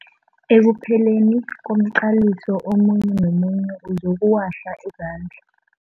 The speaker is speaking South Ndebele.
Ekupheleni komqaliso omunye nomunye uzokuwahla izandla.